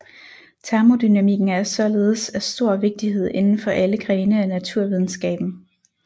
Termodynamikken er således af stor vigtighed inden for alle grene af naturvidenskaben